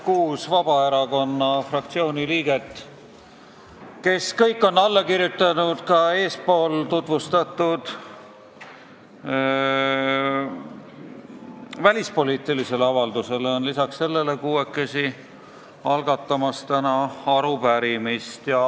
Kuus Vabaerakonna fraktsiooni liiget, kes kõik on alla kirjutanud ka eespool tutvustatud välispoliitilisele avaldusele, on lisaks sellele kuuekesi täna arupärimist algatamas.